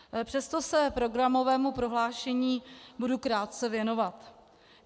Přesto se programovému prohlášení budu krátce věnovat.